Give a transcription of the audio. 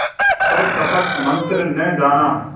पर कपट मन्त्र न जाना